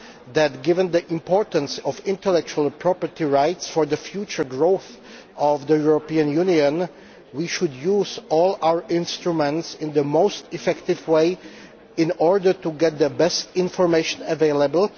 that, given the importance of intellectual property rights for the future growth of the European Union, we should use all our instruments in the most effective way in order to get the best information available.